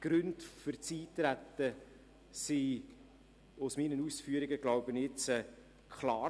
Die Gründe für das Eintreten sollten aufgrund meiner Ausführungen klar geworden sein.